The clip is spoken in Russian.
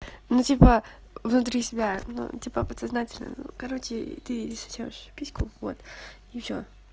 ну типа внутри себя ну типа подсознательно короче ты сосёшь письку вот и всё